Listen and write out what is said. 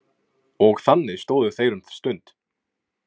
Og þannig stóðu þeir um stund.